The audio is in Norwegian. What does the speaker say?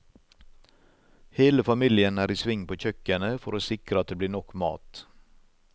Hele familien er i sving på kjøkkenet for å sikre at det blir nok mat.